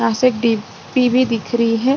यहां से टीपी भी दिख रही है।